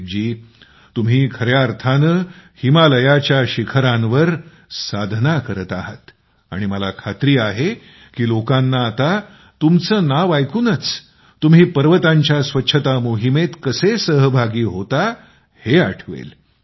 प्रदीप जी तुम्ही खर्या अर्थाने हिमालयाच्या शिखरांवर साधना करत आहात आणि मला खात्री आहे की लोकांना आता तुमचे नाव ऐकूनच तुम्ही पर्वतांच्या स्वच्छता मोहिमेत कसे सहभागी होता हे आठवेल